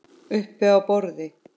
Uppi á borði?